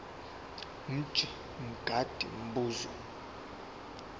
mj mngadi umbuzo